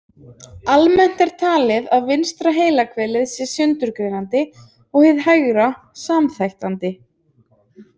Almennt er talið að vinstra heilahvelið sé sundurgreinandi en hið hægra samþættandi.